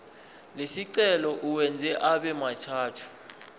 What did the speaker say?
lesicelo uwenze abemathathu